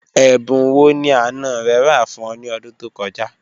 Ẹ̀bùn wọ́ ni àná rẹ̀ rà fún ọ̀ ni ọ̀dún tó kọ̀ja?